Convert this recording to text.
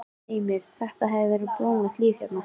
Heimir: Þetta hefur verið blómlegt líf hérna?